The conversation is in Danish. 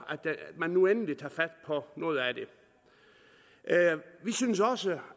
at den nu endelig tager fat på noget af det vi synes også